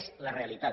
és la realitat